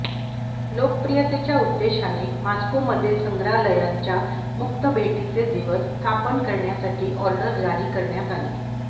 लोकप्रियतेच्या उद्देशाने मॉस्कोमधील संग्रहालयांच्या मुक्त भेटीचे दिवस स्थापन करण्यासाठी ऑर्डर जारी करण्यात आली